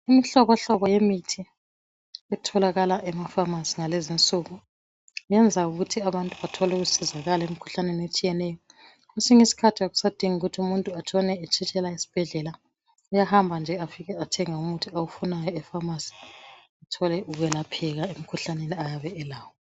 imihlobohlobo yemithi etholakala ema phamarcy ngalezi insuku yenza ukuthi abantu bathole ukusizakale emkhuhlaneni etshiyeneyo kwesinye isikhathi akusadingi ukuthi umuntu atshone etshitshela esibhedlela uyahamba nje afike athenge umuthi awufunayo e phamarcy athole ukwelaphekaa emkhuhlaneni ayabe elawo